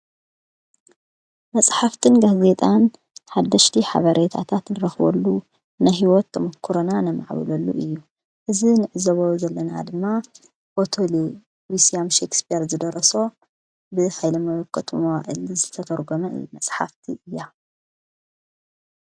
መጽሕፍትን ጋ ዜጣን ሓደሽቲ ሓበሬየት ኣታትንረኽወሉ ንሕይወት ምኲረና ነማዕብሉሉ እዩ እዝ ንእዘበሮ ዘለና ድማ ወተል ዊስያም ሸክስፔር ዝደረሶ ብሃይለ መከት ማዕሊ ዝተተርጕነዕ መጽሓፍቲ እያ።